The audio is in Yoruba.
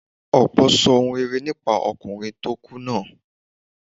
Ọ̀pọ̀ sọ ohun rere nípa ọkùnrin tó kú náà.